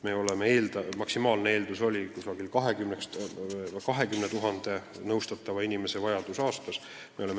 Maksimaalne vajadus peaks olema 20 000 nõustatavat inimest aastas.